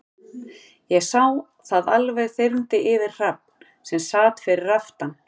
Ég sá að það alveg þyrmdi yfir Hrafn, sem sat fyrir aftan